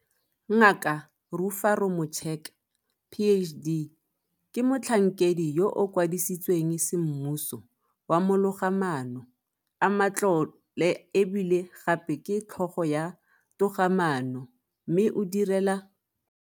Ngaka Rufaro Mucheka PhD ke Motlhankedi yo a Kwadisitsweng Semmuso wa Mologamaano a Matlole e bile gape ke Tlhogo ya Togamaano mme o direla.